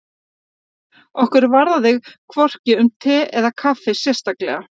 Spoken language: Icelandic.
Okkur varðaði hvorki um te eða kaffi sérstaklega.